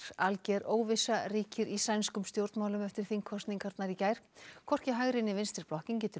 alger óvissa ríkir í sænskum stjórnmálum eftir þingkosningarnar í gær hvorki hægri né vinstri blokkin getur